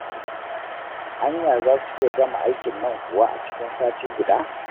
Anya za su iya gama aikin nan kuwa a cikin sati guda?